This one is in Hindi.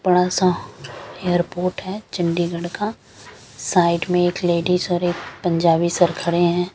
बड़ा सा एयरपोर्ट है चंडीगढ़ का साइड में एक लेडिज और एक पंजाबी सर खड़े हैं ।